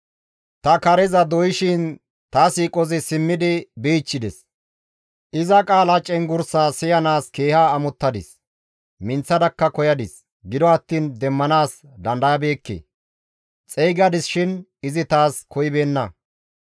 Ta kareza doyshin ta siiqozi simmidi bichchides; iza qaala cenggurssa siyanaas keeha amottadis. Minththadakka koyadis; gido attiin demmanaas dandayabeekke; Xeygadis shin izi taas koyibeenna.